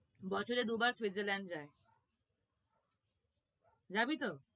বছরে দুবার সুইজারল্যান্ড যায় যাবি তো?